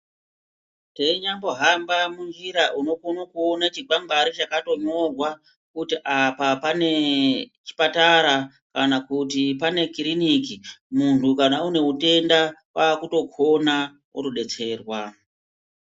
Teinyambo hamba munjira unokona kuona chikwangwari chakatonyorwa kuti panapa pane kiriniki munhu kana une utenda kwaakutokona otodetserwa .